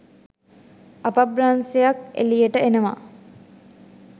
අප්‍රබන්ශයක් එලියට එනව